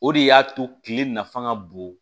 O de y'a to kile nafa ka bon